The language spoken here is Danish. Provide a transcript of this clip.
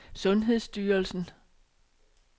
sundhedsstyrelsen